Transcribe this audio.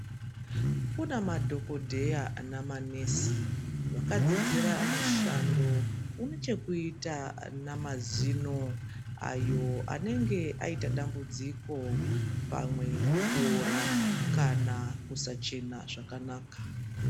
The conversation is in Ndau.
Kune madhokodheya nemanesi, vaka dzidzira mushando une chekuita namazino, ayo anenge aiyita dambudziko, pamwe kuora kana kusachena zvakanaka.